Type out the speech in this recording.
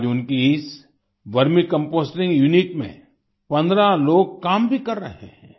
आज उनकी इस वर्मी कंपोस्टिंग यूनिट में 15 लोग काम भी कर रहे हैं